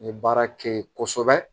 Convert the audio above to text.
N ye baara kɛ ye kosɛbɛ